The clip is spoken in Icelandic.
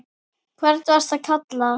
hvern varstu að kalla?